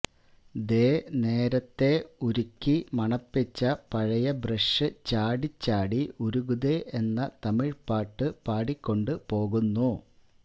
ദേ നേരത്തെ ഉരുക്കി മണപ്പിച്ച പഴയ ബ്രഷ് ചാടി ചാടി ഉരുകുതെ എന്ന തമിഴ് പാട്ട് പാടി കൊണ്ട് പോകുന്നു